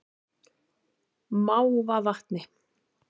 Mávavatni